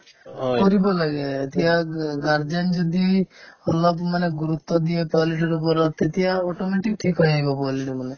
কৰিব লাগে এতিয়া গা~ guardian যদি অলপো মানে গুৰুত্ব দিয়ে পোৱালিতোৰ ওপৰত তেতিয়া automatic ঠিক হৈ আহিব পোৱালিতো মানে